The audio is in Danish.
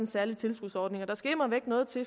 særlig tilskudsordning og der skal immervæk noget til